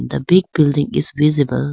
the big building is visible.